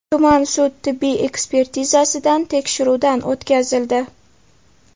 tuman sud tibbiy ekspertizasidan tekshiruvdan o‘tkazildi.